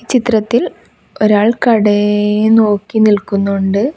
ചിത്രത്തിൽ ഒരാൾ കടയെ നോക്കി നിൽക്കുന്നുണ്ട്.